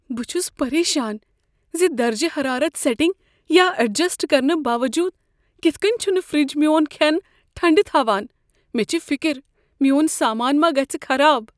بہ چھُس پریشان ز درجہ حرارت سیٹِنگ یا ایڈجسٹ کرنہٕ باوجود کتھہٕ کٔنۍ چھنہٕ فرٛج میون کھیٛن ٹھنٛڈٕ تھاوان مےٚ چھےٚ فِکر میون سامانہ ما گژھِ خراب۔